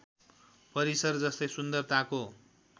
परिसर जस्तै सुन्दरताको